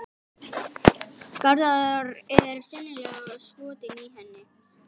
Garðar er sennilega skotinn í henni.